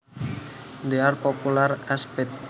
They are popular as pets